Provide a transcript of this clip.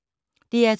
DR2